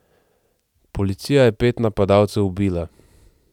Policija je pet napadalcev ubila.